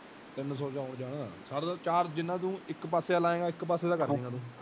ਤਿਨ ਸੋ ਚ ਆਉਣ ਜਾਨ ਸਾਰਾ ਤੇ ਜਿੰਨਾ ਤੂੰ ਇਕ ਪਾਸੇ ਦਾ ਲਏਂਗਾ ਇਕ ਪਾਸੇ ਦਾ ਕਾਰਜੇਂਗਾ ਤੂੰ।